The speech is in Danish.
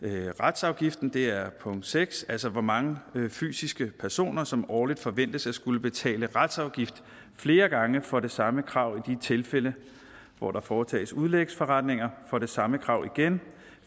retsafgiften det er punkt seks altså hvor mange fysiske personer som årligt forventes at skulle betale retsafgift flere gange for det samme krav i de tilfælde hvor der foretages udlægsforretninger for det samme krav igen